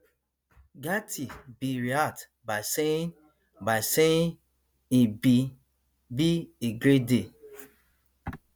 gaetz bin react by saying by saying e bin be a great day